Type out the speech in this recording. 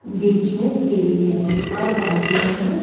बीच में सीढ़ी है --